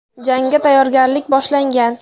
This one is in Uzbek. Jangga tayyorgarlik boshlangan.